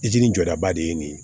jɔdaba de ye nin ye